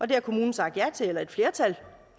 det har kommunen sagt ja til eller et flertal